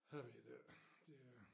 Har vi det det er